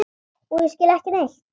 Og ég skil ekki neitt.